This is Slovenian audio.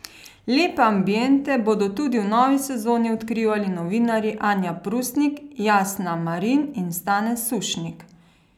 Lepe ambiente bodo tudi v novi sezoni odkrivali novinarji Anja Prusnik, Jasna Marin in Stane Sušnik.